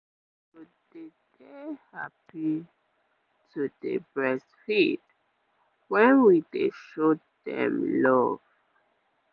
mothers go dey dey happy to dey breastfeed when we dey show dem love